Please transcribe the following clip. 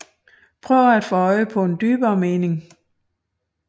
Prøver at få øje på en dybere mening